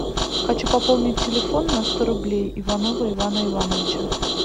хочу пополнить телефон на сто рублей иванова ивана ивановича